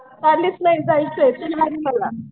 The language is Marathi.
चाललीस नाही जायचं आहे तुला आणि मला.